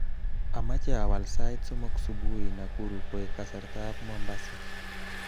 Amache iwal sait somok subui Nakuru koek kasartaab Mombasa